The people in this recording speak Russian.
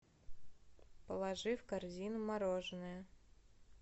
положи в корзину мороженое